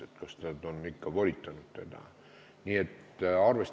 Riigikogu naisteühenduse liikmena ma ei saa taunida sellist mõttelaadi, et kui peksab, siis armastab.